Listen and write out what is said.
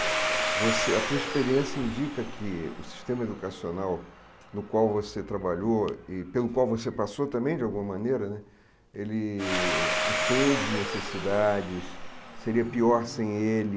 Você a tua experiência indica que o sistema educacional no qual você trabalhou e pelo qual você passou também, de alguma maneira né, ele atende necessidades, seria pior sem ele,